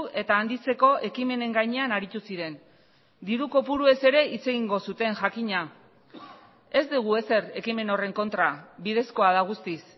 eta handitzeko ekimenen gainean aritu ziren diru kopuruez ere hitz egingo zuten jakina ez dugu ezer ekimen horren kontra bidezkoa da guztiz